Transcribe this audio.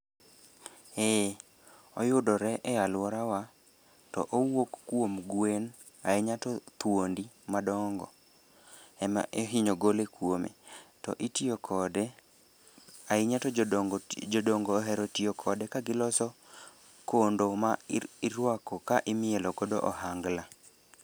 Eh, oyudore e alworawa to owuok kuom gwen ahinya to thuondi madongo ema ihinyo gole kuome to itiyo kode ahinya to jodongo ohero tiyo kode kagiloso kondo ma irwako ka imielokodo ohangla.